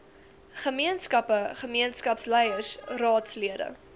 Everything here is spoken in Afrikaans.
gemeenskappe gemeenskapsleiers raadslede